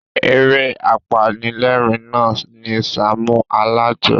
Eré apanilérìn na ni Sàámú Alájọ.